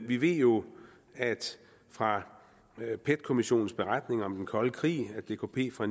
vi ved jo fra pet kommissionens beretning om den kolde krig at dkp fra